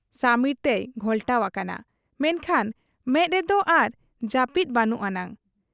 ᱥᱟᱹᱢᱤᱨ ᱛᱮᱭ ᱜᱷᱚᱞᱴᱟᱣ ᱟᱠᱟᱱᱟ, ᱢᱮᱱᱠᱷᱟᱱ ᱢᱮᱫ ᱨᱮᱫᱚ ᱟᱨ ᱡᱟᱹᱯᱤᱫ ᱵᱟᱹᱱᱩᱜ ᱟᱱᱟᱝ ᱾